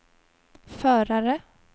förare